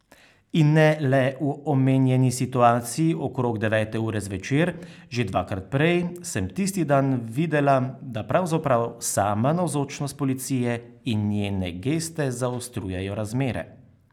In ne le v omenjeni situaciji okrog devete ure zvečer, že dvakrat prej sem tisti dan videla, da pravzaprav sama navzočnost policije in njene geste zaostrujejo razmere.